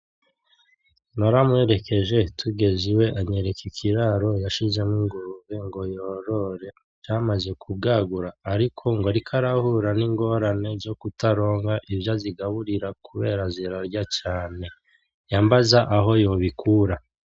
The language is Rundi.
Naramuherekeje tugeze iwe anyereka ikiraro yashizemwo ingurube ngo yorore, yamaze kubwagura ariko ngo ariko arahura n'ingorane zokutaronka ivyo azigaburira kubera zirarya cane, yambaza aho yobikura.